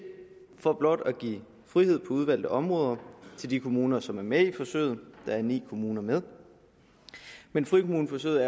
for blot at give frihed på udvalgte områder til de kommuner som er med i forsøget der er ni kommuner med men frikommuneforsøget